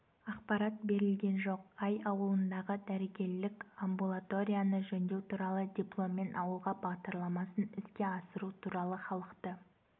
ақпарат берілген жоқ ай ауылындағы дәрігерлік амбулаторияны жөндеу туралы дипломмен ауылға бағдарламасын іске асыру туралы халықты